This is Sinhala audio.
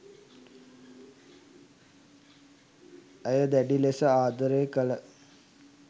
ඇය දැඩි ලෙස ආදරය කළ